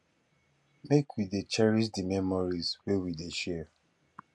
make we dey cherish di memories wey we dey share